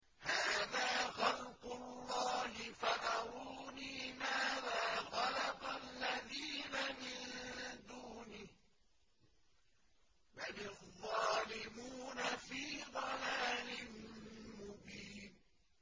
هَٰذَا خَلْقُ اللَّهِ فَأَرُونِي مَاذَا خَلَقَ الَّذِينَ مِن دُونِهِ ۚ بَلِ الظَّالِمُونَ فِي ضَلَالٍ مُّبِينٍ